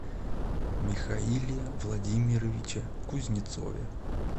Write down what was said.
михаиле владимировиче кузнецове